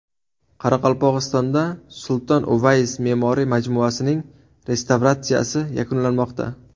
Qoraqalpog‘istonda Sulton Uvays me’moriy majmuasining restavratsiyasi yakunlanmoqda.